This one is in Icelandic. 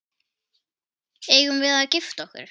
Eigum við að gifta okkur?